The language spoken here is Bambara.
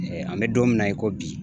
an bɛ don min na i ko bi